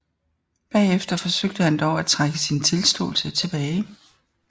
Bagefter forsøgte han dog at trække sin tilståelse tilbage